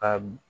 A